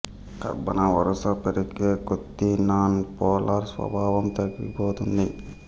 కర్బన వరుస పెరిగే కొద్ది నాన్ పోలార్ స్వభావం తగ్గిపోతుంది